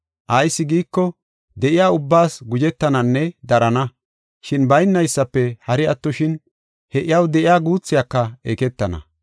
Ayis giiko, de7iya ubbaas guzhetananne darana. Shin baynaysafe hari attoshin, he iyaw de7iya guuthiyaka eketana.